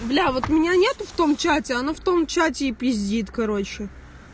блять меня нету в том чате оно в том чате и пиздит короче